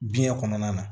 Biɲɛ kɔnɔna na